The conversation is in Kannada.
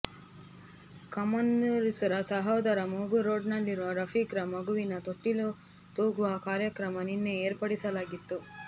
ಖಮರುನ್ನೀಸರ ಸಹೋದರ ಮುಗು ರೋಡ್ನಲ್ಲಿರುವ ರಫೀಕ್ರ ಮಗುವಿನ ತೊಟ್ಟಿಲುತೂಗುವ ಕಾರ್ಯಕ್ರಮ ನಿನ್ನೆ ಏರ್ಪಡಿಸಲಾಗಿತ್ತು